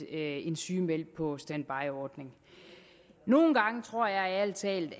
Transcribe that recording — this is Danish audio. en sygemeldt på standby ordning nogle gange tror jeg ærlig talt